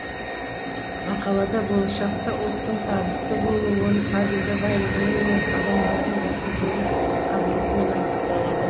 мақалада болашақта ұлттың табысты болуы оның табиғи байлығымен емес адамдарының бәсекелік қабілетімен айқындалады